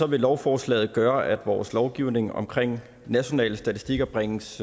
vil lovforslaget gøre at vores lovgivning omkring nationale statistikker bringes